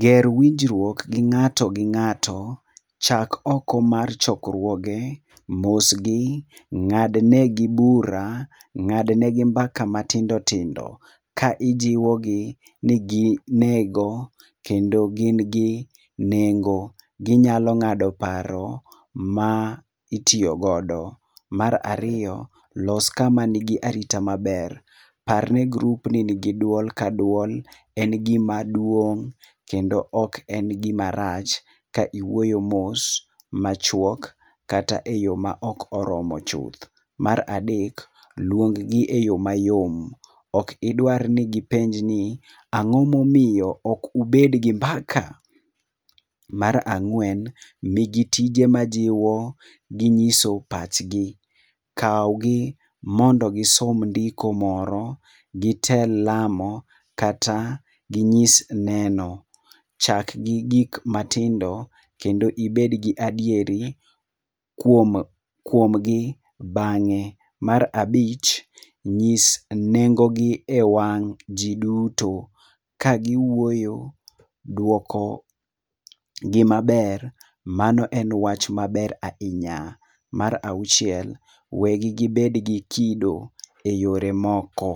Ger winjruok gi ng'ato gi ng'ato, chak oko mar chokruoge, mos gi, ng'adne gi bura, ng'adne gi mbaka matindo tindo ka ijiwo gi ni gi nego kendo gin gi nengo, ginyalo ng'ado paro ma itiyogodo. Mar ariyo, los kama nigi arita maber. Parne group ni nigi duol ka duol en gima duong' kendo ok en gima rach ka iwuoyo mos, machuok, kata e yo ma ok oromo chuth. Mar adek, luong gi e yo mayom. Okidwar ni gipenj ni "ang'o momiyo ok ubed gi mbaka?" Mar ang'wen, migi tije ma jiwo gi nyiso pachgi. Kaw gi mondo gisom ndiko moro, gitel lamo kata ginyis neno. Chak gi gik matindo kendo ibed gi adieri kuom kuom gi bang'e. Mar abich, nyis nengo gi e wang' ji duto. Ka gi wuoyo, duoko gi maber mano en wach maber ahinya. Mar auchiel, we gi gibed gi kido e yore moko.